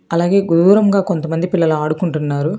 అలాగే గోరంగా కొంతమంది పిల్లలు ఆడుకుంటున్నారు